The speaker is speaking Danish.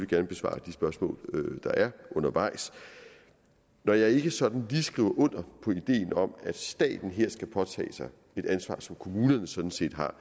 gerne besvare de spørgsmål der er undervejs når jeg ikke sådan lige skriver under på ideen om at staten her skal påtage sig et ansvar som kommunerne sådan set har